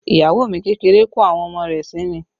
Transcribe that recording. Iyawo mi kékeré kọ́ àwọn ọmọ rẹ̀ sí mi